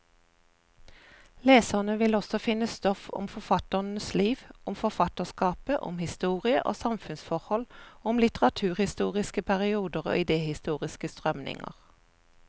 Leserne vil også finne stoff om forfatternes liv, om forfatterskapet, om historie og samfunnsforhold, og om litteraturhistoriske perioder og idehistoriske strømninger.